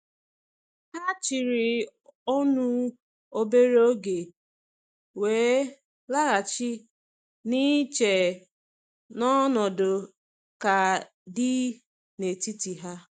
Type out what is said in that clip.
Ha chịrị ọnụ obere oge, wee laghachi na iche n’ọnọdụ ka dị n’etiti ha.